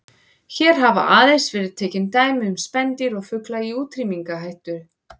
Hér hafa aðeins verið tekin dæmi um spendýr og fugla í útrýmingarhættu.